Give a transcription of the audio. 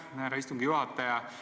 Aitäh, härra istungi juhataja!